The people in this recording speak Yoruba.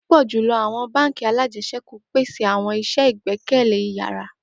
Pupọ julọ awọn bánk alájẹsẹ́kù pese awọn iṣẹ igbẹkẹle iyara